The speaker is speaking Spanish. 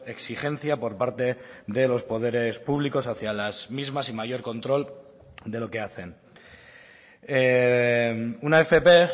exigencia por parte del los poderes públicos hacia las mismas y mayor control de lo que hacen una fp